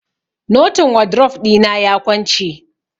Notin wadrof ɗina ya kwance.